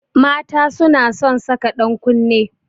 Mata suna son saka dankunne